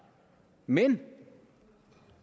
men